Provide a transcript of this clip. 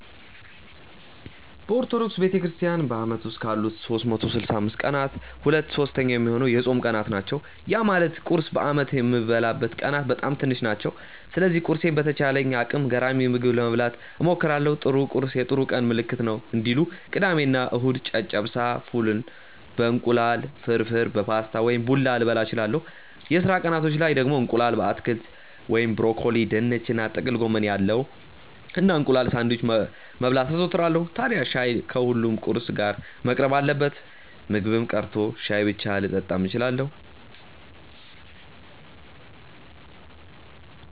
በኦርቶዶክስ ቤተክርስትያን በአመት ውስጥ ካሉት 365 ቀናት ሁለት ሶስተኛ ሚሆነው የጾም ቀናት ናቸው። ያ ማለት ቁርስ በአመት የምበላበት ቀናት በጣም ትንሽ ናቸው። ስለዚህ ቁርሴን በተቻለኝ አቅም ገራሚ ምግብ ለመብላት እሞክራለው 'ጥሩ ቁርስ የጥሩ ቀን ምልክት ነው' እንዲሉ። ቅዳሜ እና እሁድ ጨጨብሳ፣ ፉል በ እንቁላል፣ ፍርፍር በፓስታ ወይም ቡላ ልበላ እችላለው። የስራ ቀናቶች ላይ ደግሞ እንቁላል በአትክልት (ብሮኮሊ፣ ድንች እና ጥቅል ጎመን ያለው) እና እንቁላል ሳንድዊች መብላት አዘወትራለው። ታድያ ሻይ ከሁሉም ቁርስ ጋር መቅረብ አለበት። ምግብም ቀርቶ ሻይ ብቻ ልጠጣም እችላለው።